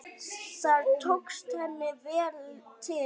Þar tókst henni vel til.